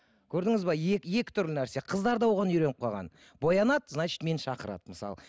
көрдіңіз бе екі түрлі нәрсе қыздар да оған үйреніп қалған боянады значит мені шақырады мысалы